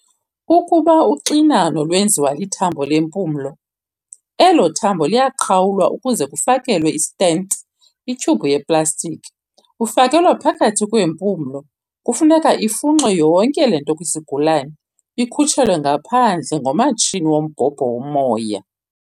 Ukuba uxinano lwenziwa lithambo lempumlo, elo thambo liyaqhawulwa kuze kufakelwe i-stent, ithyubhu yep-plastiki, fakelwa phakathi kweempumlo. Kufuneka ifunxwe yonke le nto kwisigulane, ikhutshelwe ngaphandle ngomatshini wombhobho womoya.